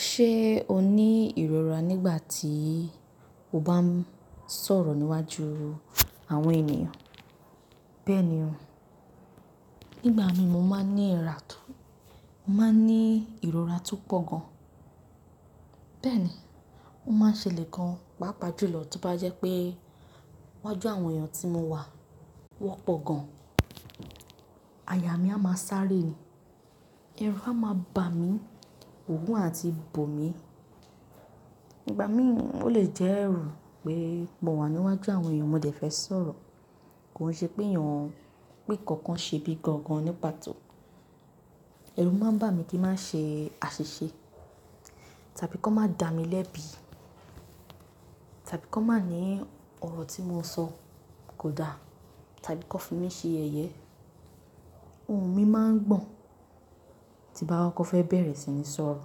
Ṣe o ni irora nigbati o ba n sọ̀rọ̀ níwájú àwọn ènìyàn? Bẹ́ẹ̀ni o. Nígbà mi mo ma n ni irora to pọ gan. Bẹ́ẹ̀ni o ma n ṣele gan paapaa julọ ti o ba jẹ pe iwájú àwọn ẹyan ti mo wa, wọn pọ gan. Aya mi a ma sáré ni, ẹru a ma ba mi, òogun a ti bò mi. Nígbà mi o le jẹ ẹru pe mo wa níwájú àwọn ènìyàn mo dẹ fẹ sọ̀rọ̀. Ko n ṣe pe ẹyan, pe nkankan ṣe bi gangan ni pàtó. Ẹru ma n ba mi ki n ma ṣe aṣiṣe tàbí ki won ma da mi lẹbi tàbí ki won ma ni ọrọ ti mo sọ ko da tàbí ki wọn fi mi ṣe ẹyẹ. Ohun mi ma n gbọn ti n ba koko fẹ bẹrẹ si ni sọ̀rọ̀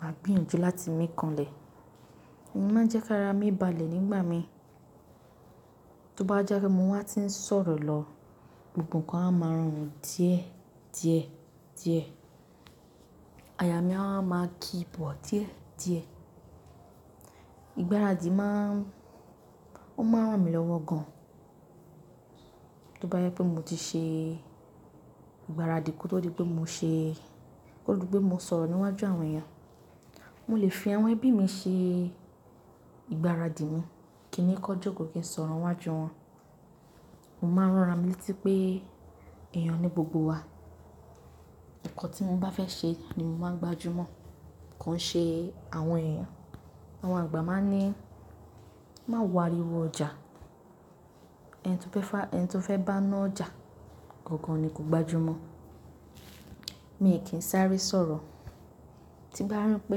ma gbìyànjú láti mi kanlẹ. Òun ma n jẹ ki ara mi balẹ̀ nígbà mi. Ti o ba jẹ pe mo wa ti n sọ̀rọ̀ lọ gbogbo nkan a ma rọrùn díẹ̀ díẹ̀ díẹ̀. Aya mi a wa maa ki bọ diẹ diẹ. Igbaraadi ma n, o ma n ran mi lọ́wọ gan. Ti o ba jẹ pe mo ti ṣe ìgbáradì ko to di pe mo ṣe, ko to di pe mo sọ̀rọ̀ níwájú àwọn ẹyan. Mo le fi àwọn ẹbi mi ṣe ìgbáradì mi, ki n ni kan joko kí n sọ̀rọ̀ níwájú wọn. Mo ma n ràn ara mí létí pé ẹyan ni gbogbo wa. Nkan ti mo bá fẹ ṣe ni mo máa n gbajúmọ̀, ko n ṣe àwọn èèyàn. Àwọn àgbà máa ní "má wo áriwọ ọjà, ẹni tó fẹ́ bá ná ọjà gangan ni kò gbajúmọ̀". Mi ò kí n sáré sọ̀rọ̀, tí n bá rí pé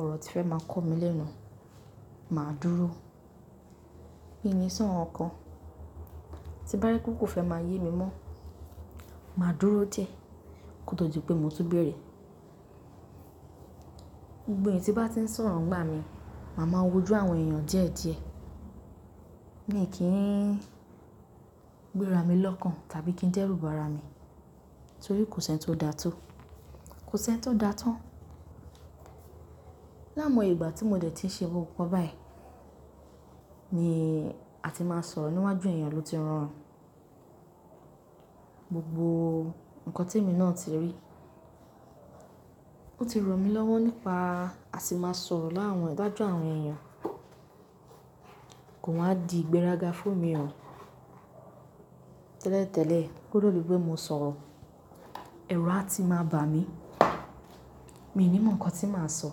ọ̀rọ̀ tí fẹ́ máa kọ mí lẹ́nu, màá dúró. Mi ò ní sọ̀ nkan kan, tí n bá rí pé kò fẹ́ máa yé mi mọ́, màá dúró díẹ̀ kí ó tó di pé mo tun bẹ̀rẹ̀. Gbogbo èèyàn tí o bá ti ń sọ̀rọ̀ ńigbá mi, màá ma wó ojú àwọn èèyàn díẹ̀ díẹ̀. Mi ò kí ń gbéra mi lọ́kàn tàbí kí ń dẹ́rù bà arà mi, torí kò ṣi eńi tó da tó, kò ṣi ẹni tó da tán. L'áimoye ìgbà tí mo dẹ̀ ti ń ṣe nkankan báyìí, ni a ti máa sọ̀rọ̀ níwájú èèyàn ló ti rọrùn gbogbo nǹkan tí èmi náà ti rí. Ó ti ran mí lọ́wọ̀ nípa a sì máa sọ̀rọ̀ láàárín iwájú àwọn èèyàn, kò wa di ìgbéraga fún mi o. Tẹ́lẹ̀ tẹ́lẹ̀, ko to di pe mo sọ̀rọ̀, ẹrù a ti máa bà mí, mi ò ní mọ̀ nǹkan tí màá sọ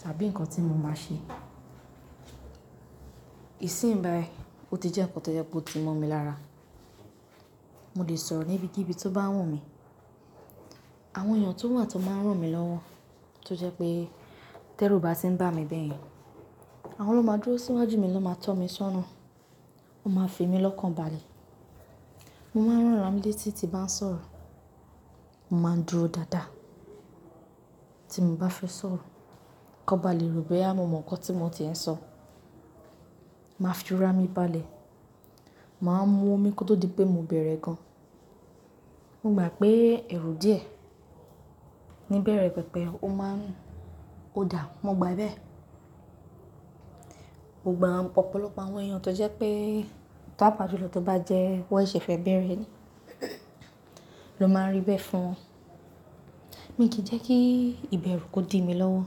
tàbí nǹkan tí mo máa ṣe. Ìsínyì báyìí, ó ti jẹ́ nkan tó je pe o ti mọ́ mi lára. Mo lè sọ̀rọ̀ níbi kíbi tó bá wù mí. Àwọn èèyàn tó wà tan máa ń ràn mí lọ́wọ́ tó jẹ́ pé tẹ́rù bá ti ń bà mí bẹ́ẹ̀ yẹn, àwọn ló máa dúró síwájú mi ló máa tọ́ mí sọ́nà, wọ́n máa fi èmi lọ́kàn balẹ̀. Mo máa ń rán ara mi létí tí bá ń sọ̀rọ̀, mo máa ń dúró dáadáa tí mo bá fẹ́ sọ̀rọ̀, kan ba lè ro boyá mo mọ̀ nǹkan tí mo tie ń sọ. Mo máa fi ara mi balẹ̀, màá mú omi kó tó di pé mo bẹ̀rẹ̀ gan. Mo gba pé ero díẹ̀ ní ibẹ̀rẹ̀ pẹpẹ, ó máa ń, ó dàá, mo gba bẹ̀e. Mo gbà ọ̀pọ̀lọpọ̀ àwọn èèyàn tó jẹ́ pé paapà julọ tó bá jẹ́ wọ́n ṣe fẹ́ bẹ̀rẹ̀ ni ló máa n rí ibẹ̀ fún. Mi ò kí ń jẹ́ kí ìbẹ̀rù kó di mí lọ́wọ́.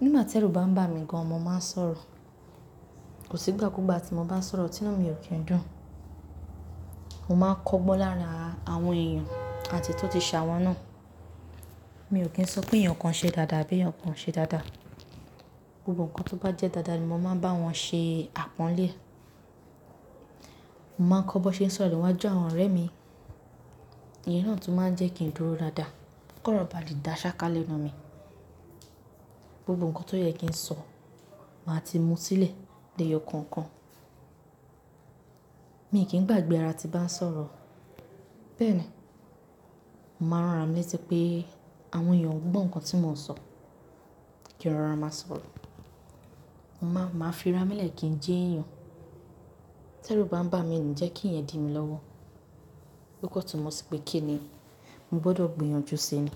Nígbà tí ẹrú bá ń bà mí gan, mo máa ń sọ̀rọ̀. Kò sí ìgbà kúgbà tí mo bá ń sọ̀rọ̀ tí inú mi ò kí ń dùn. Mo máa ń kọ́gbọ́n lára àwọn èèyàn àti èyí to ti ṣ'awọ̀n náà. Mi ò kí ń sọ pé eyan kan ṣe dáadáa àbí eyan kan o ṣe dáadáa. Gbogbo nǹkan tó bá jẹ́ dáadáa ni mo máa ń bá wọn ṣe àpọ́nlé e. Mo máa ń kọ́ bọ́n ṣe ń sọ̀rọ̀ níwájú àwọn ọ̀rẹ́ mi. Ìyẹn náà ni tun máa ń jẹ́ kí n dúró dáadáa kí ọ̀rọ̀ bá lè dá ṣáká lẹ́nu mi. Gbogbo nǹkan tó yẹ kí n sọ, màá ti mú sílẹ̀ l'eyo kọ̀ọ̀kan mi ò kí ń gbàgbe ara tí n bá ń sọ̀rọ̀. Bẹ́ẹ̀ ni, mo màá rán ara mi létí pé àwọn èèyàn ò gbọ́ nǹkan tí mò ń sọ kí n rọra máa sọ̀rọ̀. Mo máa ń, maa fi ara mi lẹ̀ kí ń jẹ́ èèyàn. T'ẹ́rù bá ń bà mí, n ni jẹ́ kí iyen di mí lọ́wọ́. Ló kan túnmọ̀ sì pé kíni? Mo gbọdọ̀ gbìyànjú sí ni.